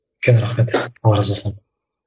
үлкен рахмет алла разы болсын